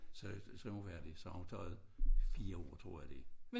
Så så hun færdig så har hun taget 4 år tror jeg det